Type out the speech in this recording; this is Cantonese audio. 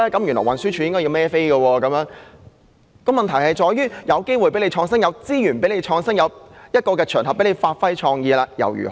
原來運輸署要為此負責，問題卻是即使給予機會和資源作出創新，也有場合讓部門發揮創意，結果又如何？